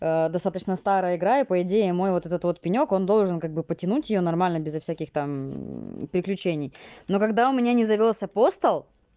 достаточно старая игра и по идее мой вот этот пенёк он должен как бы потянуть её нормально без всяких там приключений но когда у меня не завёлся постал